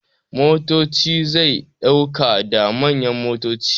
Motoci zai dauka da manyan motoci.